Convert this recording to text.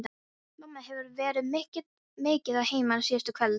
Mamma hefur verið mikið að heiman síðustu kvöld.